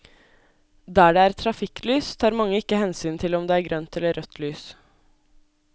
Der det er trafikklys tar mange ikke hensyn til om det er grønt eller rødt lys.